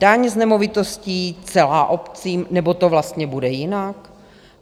Daň z nemovitostí celá obcím, nebo to vlastně bude jinak?